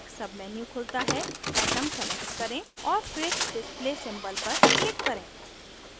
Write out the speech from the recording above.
एक menu खुलता है atom select करें और फिर display symbol पर click करें